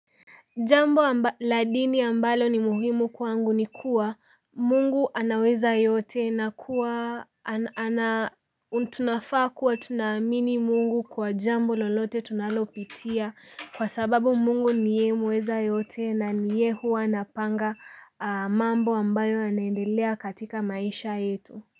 Jambo amba la dini ambalo ni muhimu kwangu ni kuwa, Mungu anaweza yote na kuwa ana tunafaa kuwa tunaamini Mungu kwa jambo lolote tunalopitia, kwa sababu Mungu niye muweza yote, na niye huwa anapanga, mambo ambayo yanaendelea katika maisha yetu.